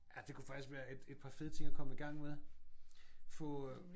Ja det kunne faktisk være et et par fede ting at komme i gang med. Få øh